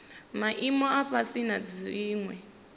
maimo a fhasi na dziwe